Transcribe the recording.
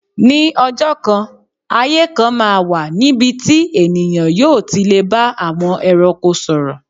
Ní ọjọ́ kan, ayé kan máa wà níbi tí ènìyàn yóò ti lè bá àwọn ẹranko sọ̀rọ̀.